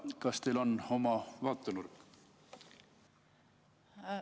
Kas teil on oma vaatenurk?